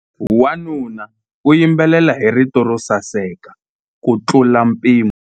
Wanuna u yimbelela hi rito ro saseka kutlula mpimo.